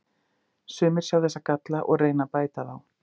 Sumir sjá þessa galla og reyna að bæta þá.